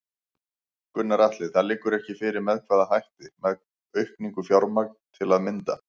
Gunnar Atli: Það liggur ekki fyrir með hvaða hætti, með auknu fjármagn til að mynda?